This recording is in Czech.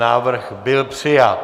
Návrh byl přijat.